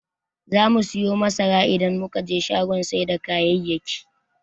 Zamu siyo masara idan muka je shagon sai da kayayyaki.